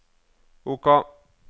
OK